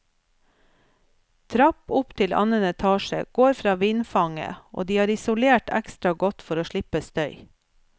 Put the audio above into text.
Trapp opp til annen etasje går fra vindfanget, og de har isolert ekstra godt for å slippe støy.